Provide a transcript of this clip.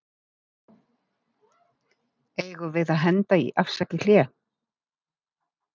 Eigum við að henda í Afsakið hlé?